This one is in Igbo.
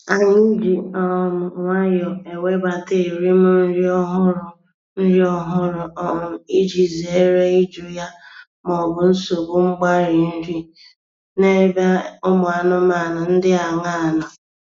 Anyị ji um nwayọọ ewebata erim nri ọhụrụ nri ọhụrụ um iji zere ịjụ ya maọbụ nsogbu mgbarị nri n’ebe ụmụ anụmanụ dị aṅaa nọ